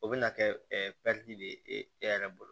O bɛna kɛ de e yɛrɛ bolo